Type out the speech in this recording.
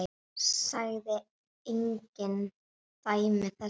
Sagði engin dæmi þess.